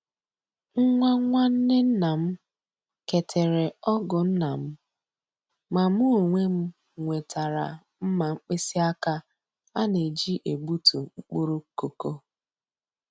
Nwa nwanne nnam ke tere ọgụ nna nnam, ma mụ onwe m nwetara mma mkpịsị aka a na-eji egbutu mkpụrụ koko.